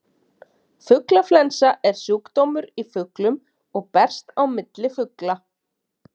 Fuglaflensa er sjúkdómur í fuglum og berst á milli fugla.